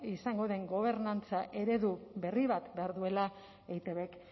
izango den gobernantza eredu berri bat behar duela eitbk